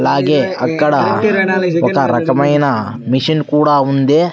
అలాగే అక్కడ ఒక రకమైన మెషిన్ కూడా ఉంది.